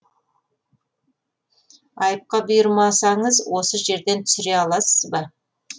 айыпқа бұйырмасаңыз осы жерден түсіре аласыз ба